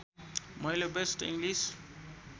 मैले best English